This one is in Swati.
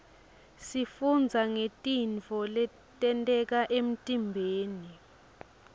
sifundza ngetintfo letenteka emtiimbeni